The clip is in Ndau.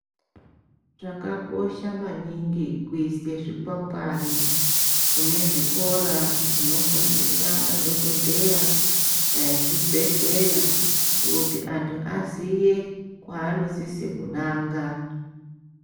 Zvakanaka maningi kurisei zvikwangwari kune zvikora zvinodzidzise madhokodheya nezvibhedhlera kuti antu aziye kwaanosise kunanga.